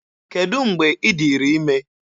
Kedụ mgbe ị dịrị ime?